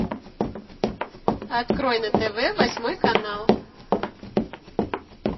открой на тв восьмой канал